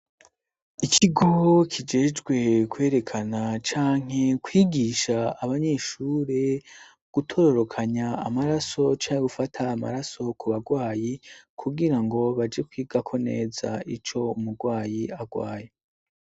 Ikigo kijejwe kwerekana cyanke kwigisha abanyeshure gutororokanya amaraso canke gufata amaraso ku bagwayi kubwira ngo baje kwigako neza ico umurgwayi agwaye.